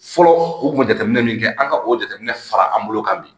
Fɔlɔ u kun bɛ jateminɛ min kɛ an ka o jateminɛ fara an bolo kan bi